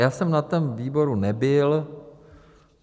Já jsem na tom výboru nebyl.